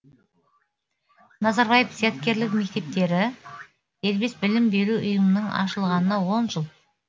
назарбаев зияткерлік мектептері дербес білім беру ұйымының ашылғанына он жыл